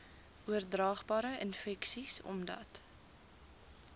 oordraagbare infeksies omdat